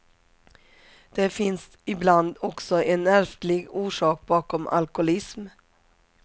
Det finns ibland också en ärftlig orsak bakom alkoholism.